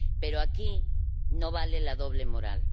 Pero aquí no vale la doble moral.